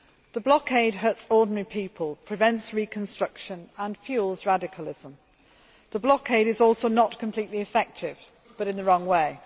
The blockade hurts ordinary people, prevents reconstruction and fuels radicalism. The blockade is also not completely effective, but in the wrong way.